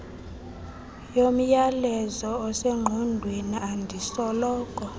yomyalezo osengqondweni endisoloko